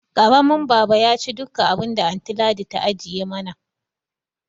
Karamin baba yaci duka abinda anty Ladi ta ajiye mana